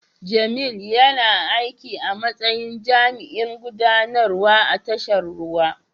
Jamil yana aiki a matsayin jami'in gudanarwa a tashar ruwa.